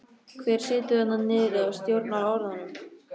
Hver situr þarna niðri og stjórnar orðunum?